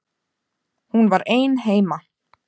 Hún var ein heima.